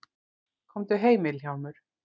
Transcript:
Komdu heim Vilhjálmur.